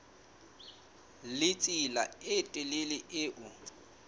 le tsela e telele eo